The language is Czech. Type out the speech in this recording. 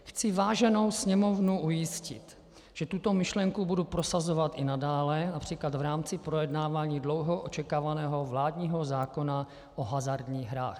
Chci váženou Sněmovnu ujistit, že tuto myšlenku budu prosazovat i nadále, například v rámci projednávání dlouho očekávaného vládního zákona o hazardních hrách.